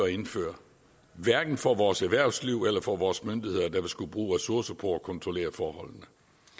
at indføre hverken for vores erhvervsliv eller for vores myndigheder der vil skulle bruge ressourcer på at kontrollere forholdene